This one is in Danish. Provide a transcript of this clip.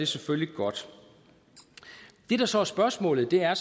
selvfølgelig godt det der så er spørgsmålet er